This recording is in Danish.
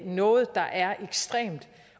noget der er ekstremt